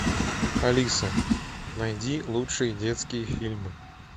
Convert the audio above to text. алиса найди лучшие детские фильмы